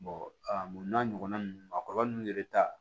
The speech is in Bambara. n'a ɲɔgɔnna nunnu a kɔlɔlɔ nunnu yɛrɛ ta